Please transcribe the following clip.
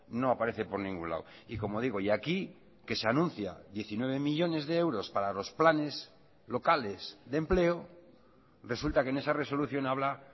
no aparece por ningún lado y como digo y aquí que se anuncia diecinueve millónes de euros para los planes locales de empleo resulta que en esa resolución habla